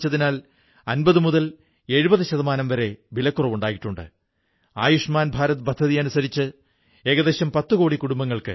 നമുക്ക് ഈ പ്രാദേശിക ആഹാരങ്ങളുടെ പാചകക്കുറിപ്പ് പ്രാദേശിക ഘടകങ്ങളുടെ കറിക്കൂട്ടുകളുടെ പേരുകൾക്കൊപ്പം ഏക് ഭാരത് ശ്രേഷ്ഠ് ഭാരത് വെബ്സൈറ്റിൽ പങ്കുവയ്ക്കാനാവില്ലേ